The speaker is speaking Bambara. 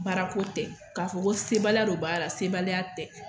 Baara ko tɛ k'a fɔ ko se baliya don baara la, sebaliya tɛ.